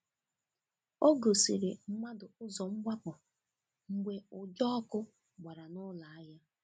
Ọ gòsìrì̀ mmadụ ụzọ́ mgbapụ̀ mgbe ụja ọkụ̀ gbara n’ụlọ ahịa.